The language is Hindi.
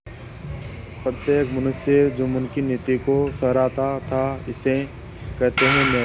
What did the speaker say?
प्रत्येक मनुष्य जुम्मन की नीति को सराहता थाइसे कहते हैं न्याय